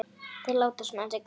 Þeir láta svona þessir karlar.